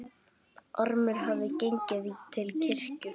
Ormur hafði gengið til kirkju.